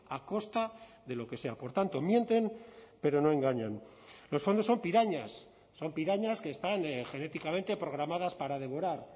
a costa de lo que sea por tanto mienten pero no engañan los fondos son pirañas son pirañas que están genéticamente programadas para devorar